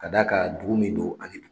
Ka da kan, dugu min don